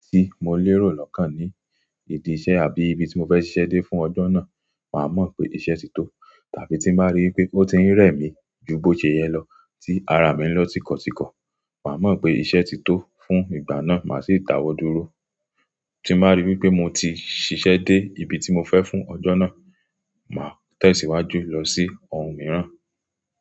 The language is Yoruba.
Tí mo lérò lọ́kàn ni ìdí iṣẹ́ àbí ibi tí mo fẹ́ ṣiṣẹ́ dé fún ọjọ́ náà, màá mọ̀ pé iṣẹ́ ti tó. Tàbí tí bàá rí wí pé ó ti ń rẹ̀ mí ju bó ṣe yẹ lọ, tí ara mi ń lọ tíkọ̀tíkọ̀, màá mọ̀ pé iṣẹ́ ti tó fún ìgbà náà, màá sì ta wọ́ dúró. Tí màá rí wí pé mo ti ṣiṣẹ́ dé ibi tí mo fẹ́ fún ọjọ́ náà, màá tẹ̀síwájú lọ sí ohun mìíràn.